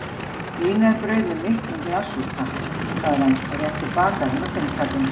Vínarbrauð með miklum glassúr, takk sagði hann og rétti bakaranum fimmkallinn.